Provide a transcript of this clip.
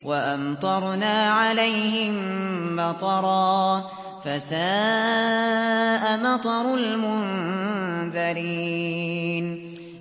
وَأَمْطَرْنَا عَلَيْهِم مَّطَرًا ۖ فَسَاءَ مَطَرُ الْمُنذَرِينَ